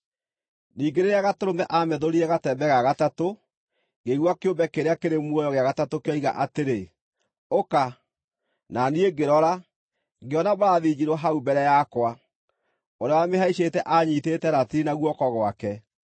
Ningĩ rĩrĩa Gatũrũme aamethũrire gatembe ga gatatũ, ngĩigua kĩũmbe kĩrĩa kĩrĩ muoyo gĩa gatatũ kĩoiga atĩrĩ, “Ũka!” Na niĩ ngĩrora, ngĩona mbarathi njirũ hau mbere yakwa! Ũrĩa wamĩhaicĩte aanyiitĩte ratiri na guoko gwake.